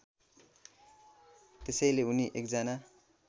त्यसैले उनी एकजना